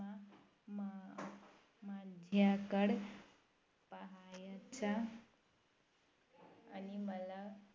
ह्याकडं पाहायचा आणि मला